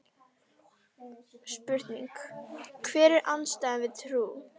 Spurning: Hver er andstæðan við trú?